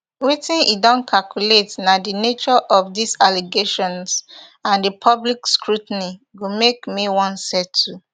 wetin e don calculate na di nature of dis allegations and di public scrutiny go make me wan settle